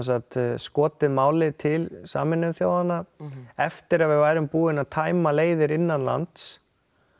skotið máli til Sameinuðu þjóðanna eftir að við værum búin að tæma leiðir innanlands